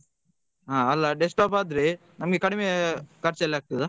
ಹಾ ಅಲ್ಲಾ desktop ಆದ್ರೆ ನಮ್ಗೆ ಕಡಿಮೆ ಖರ್ಚ್ ಅಲ್ ಆಗ್ತದಾ.